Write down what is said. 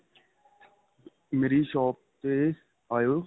ਮੇਰੀ shop ਤੇ ਆਇਉ